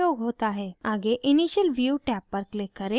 आगे initial view tab पर click करें